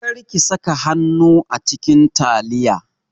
Kar ki saka hannu a cikin taliyan!